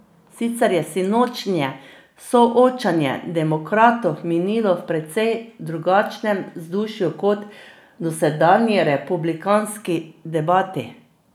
Sicer je sinočnje soočenje demokratov minilo v precej drugačnem vzdušju kot dosedanji republikanski debati.